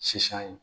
Sisan